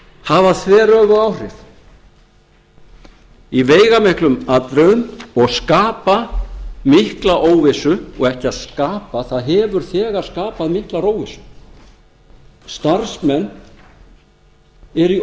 hafa þveröfug áhrif í veigamiklum atriðum og skapa mikla óvissu og ekki að skapa það hefur þegar skapað mikla óvissu starfsmenn eru í